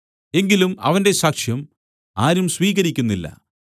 എങ്കിലും അവന്റെ സാക്ഷ്യം ആരും സ്വീകരിക്കുന്നില്ല